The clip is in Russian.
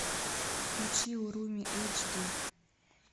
включи уруми эйч ди